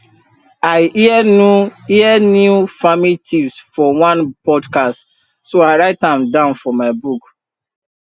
i hear new hear new farming tips for one podcast so i write am down for my book